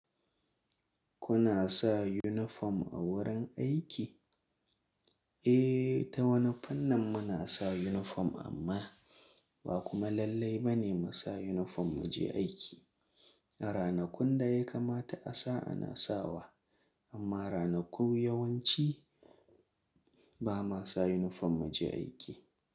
Kuna sa uniform a wurin aiki? Eh, ta wani fannin muna sa uniform amma ba kuma lallai ba ne mu sa uniform mu je aiki. A ranakun da ya kama ta asa ana sawa amma ranakun yawanci ba ma sa uniform mu je aiki.